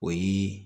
O yi